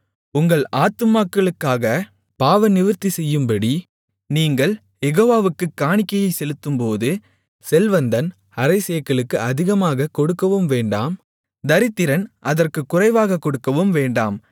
உங்கள் ஆத்துமாக்களுக்காகப் பாவநிவிர்த்திசெய்யும்படி நீங்கள் யெகோவாவுக்குக் காணிக்கை செலுத்தும்போது செல்வந்தன் அரைச்சேக்கலுக்கு அதிகமாகக் கொடுக்கவும் வேண்டாம் தரித்திரன் அதற்குக் குறைவாகக் கொடுக்கவும் வேண்டாம்